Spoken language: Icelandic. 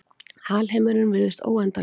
Alheimurinn virðist óendanlegur.